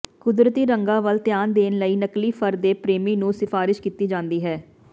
ਕੁਦਰਤੀ ਰੰਗਾਂ ਵੱਲ ਧਿਆਨ ਦੇਣ ਲਈ ਨਕਲੀ ਫਰ ਦੇ ਪ੍ਰੇਮੀ ਨੂੰ ਸਿਫਾਰਸ਼ ਕੀਤੀ ਜਾਂਦੀ ਹੈ